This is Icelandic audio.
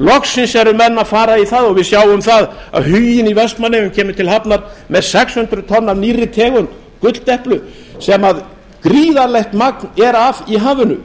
loksins eru menn að fara í það og við sjáum að huginn í vestmannaeyjum kemur til hafnar með sex hundruð tonn af nýrri tegund gulldeplu sem gríðarlegt magn er af í hafinu